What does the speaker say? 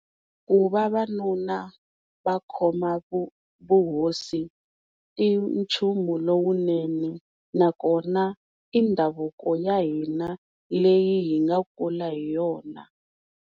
Ku vavanuna va khoma vuhosi i nchumu lowunene na kona i ndhavuko ya hina leyi hi nga kula hi yona.